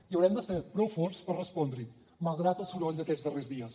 i haurem de ser prou forts per respondre hi malgrat el soroll d’aquests darrers dies